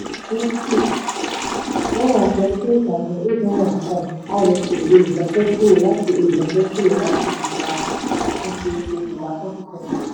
one hundred and forty three thousand eight hundred and five rsa olùdájọ kúrò láti olùdájọ kúrò láti ìgbà àtúnṣí kejìlá twenty twenty.